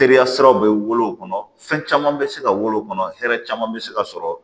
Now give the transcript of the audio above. Teriya siraw bɛ wolo o kɔnɔ fɛn caman bɛ se ka wolo kɔnɔ hɛrɛ caman bɛ se ka sɔrɔ